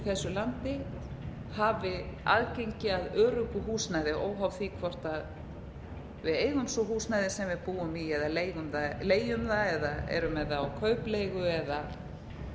þessu landi hafi aðgengi að öruggu húsnæði óháð því hvort við eigum svo húsnæðið sem við búum í eða leigjum það eða erum með það á kaupleigu